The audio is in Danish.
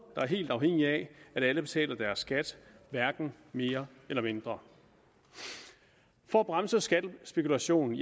der er helt afhængige af at alle betaler deres skat hverken mere eller mindre for at bremse skattespekulation